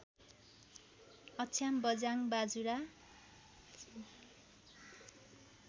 Achham Bajhang Bajura